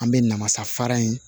An bɛ namasafara in